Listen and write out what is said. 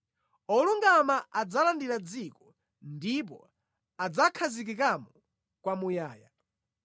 olungama adzalandira dziko ndipo adzakhazikikamo kwamuyaya.